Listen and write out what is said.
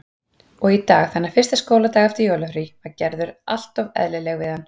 Og í dag, þennan fyrsta skóladag eftir jólafrí, var Gerður alltof eðlileg við hann.